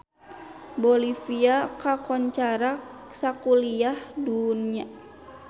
Bolivia kakoncara sakuliah dunya